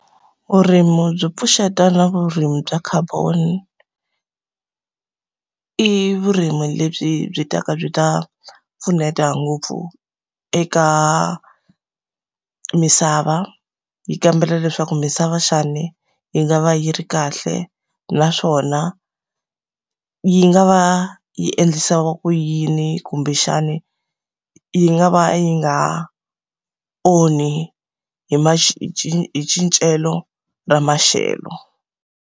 Vurimi byo pfuxeta na vurimi bya carbon-i i vurimi lebyi byi ta ka byi ta pfuneta ngopfu eka misava. Yi kambela leswaku misava xana yi nga va yi ri kahle, naswona yi nga va yi endlisa ku yini kumbexani yi nga va yi nga onhi hi hi hi cincelo ra maxelo.